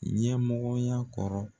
Ɲɛmɔgɔya kɔrɔ